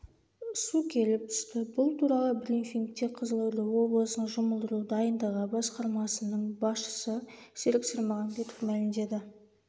су келіп түсті бұл туралы брифингте қызылорда облысының жұмылдыру дайындығы басқармасының басшысы серік сермағамбетов мәлімдеді